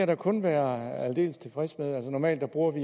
da kun være aldeles tilfreds med normalt bruger vi